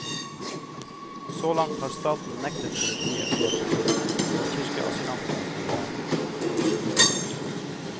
Så langt har staten nektet politiet å hjelpe til, og kirkeasylantene blir værende.